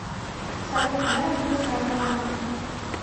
салют когда родился авраам